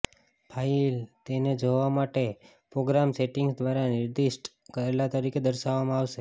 file તેને જોવા માટે પ્રોગ્રામ સેટિંગ્સ દ્વારા નિર્દિષ્ટ કરેલા તરીકે દર્શાવવામાં આવશે